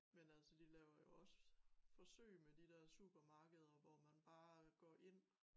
Men altså de laver jo også forsøg med de der supermarkeder hvor man bare går ind